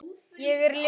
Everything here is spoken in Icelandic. Ég er ljónið.